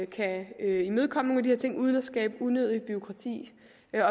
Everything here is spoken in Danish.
kan imødekomme nogle af de her ting uden at skabe unødigt bureaukrati